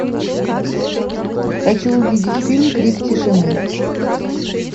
хочу увидеть фильм крик тишины